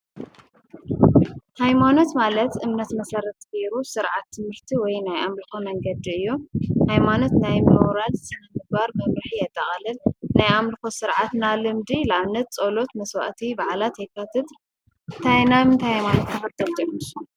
ሃይማኖት ማለት እምነት መሰረት ገይሩ ስርዓት ትምህርቲ ወይ ናይ ኣምልኮ መንገዲ እዩ። ሃይማኖት ናይ ምሁራት ስነ ምግባር መምርሒ የጠቃልል። ናይ ኣምልኮ ስርዓት ናይ ልምዲ ንኣብነት ፆሎት፣ መስዋእቲ ፣በዓላት የካትት። እንታይ ሃይማኖት ተከተልቲ ኢኩም ንስኩም?